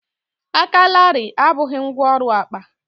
aka larịị abụghị ngwá ọrụ akpa